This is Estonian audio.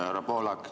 Härra Pohlak!